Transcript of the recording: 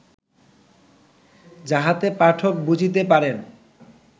যাহাতে পাঠক বুঝিতে পারেন